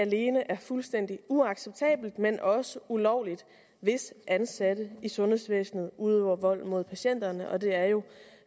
alene er fuldstændig uacceptabelt men også ulovligt hvis ansatte i sundhedsvæsenet udøver vold mod patienterne og det er jo